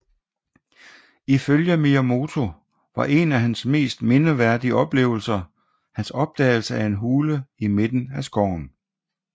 Ifølge Miyamoto var en af hans mest mindeværdige oplevelser hans opdagelse af en hule i midten af skoven